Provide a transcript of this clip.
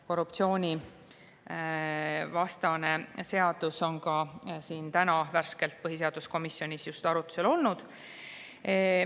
Korruptsioonivastane seadus oli ka täna värskelt põhiseaduskomisjonis arutusel.